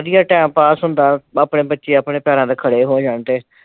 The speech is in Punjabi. ਵਧੀਆ time ਪਾਸ ਹੁੰਦਾ ਆਪਣੇ ਬੱਚੇ ਆਪਣੇ ਪੈਰਾਂ ਤੇ ਖੜੇ ਹੋ ਜਾਣ ਤੇ,